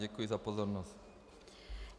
Děkuji za pozornost.